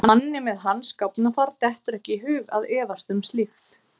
Manni með hans gáfnafar dettur ekki í hug að efast um slíkt.